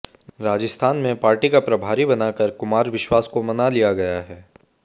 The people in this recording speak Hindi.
राजस्थान में पार्टी का प्रभारी बनाकर कुमार विश्वास को मना लिया गया है